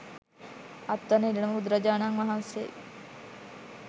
අත්වන ඉරණම බුදුරජාණන් වහන්සේ